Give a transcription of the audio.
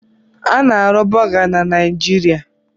A na-arụ Bọga na Niijiria.